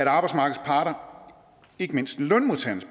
arbejdsmarkedets parter ikke mindst lønmodtagernes